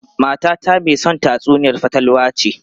Matata mai son tatsuniyar fatalwa ce.